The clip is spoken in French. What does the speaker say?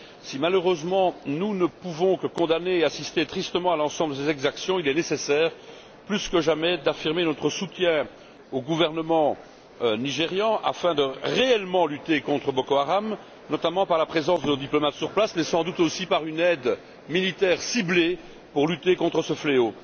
Si, malheureusement, nous ne pouvons que condamner et assister tristement à l'ensemble de ces exactions, il est nécessaire plus que jamais d'affirmer notre soutien au gouvernement nigérian afin de réellement lutter contre Boko Haram, notamment par la présence de nos diplomates sur place mais, sans doute, aussi par une aide militaire ciblée pour lutter contre ce fléau.